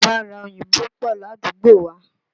Bàrà òyìnbó pọ̀ ládùúgbò wá.